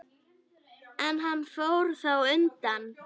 En hann fór þá undan.